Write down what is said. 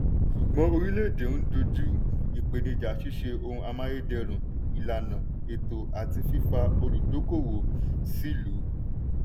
ṣùgbọ́n oríléèdè ń doju ìpènijà ṣíṣe ohun amáyédẹrùn ìlàna ètò àti fífa olùdókóòwò sílùú.